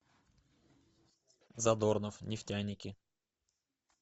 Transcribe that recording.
задорнов нефтяники